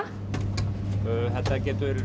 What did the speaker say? getur